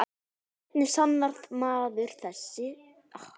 Hvernig sannar maður þessa hluti?